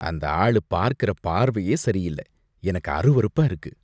அந்த ஆளு பார்க்கற பார்வையே சரியில்ல, எனக்கு அருவருப்பா இருக்கு.